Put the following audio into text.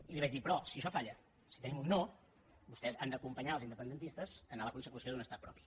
i li vaig dir però si això falla si tenim un no vostès han d’acompanyar els independentistes en la consecució d’un estat propi